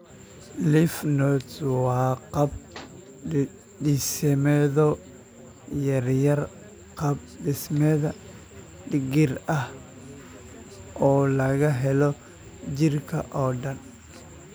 Lymph nodes waa qaab-dhismeedyo yaryar, qaab-dhismeed digir ah oo laga helo jirka oo dhan.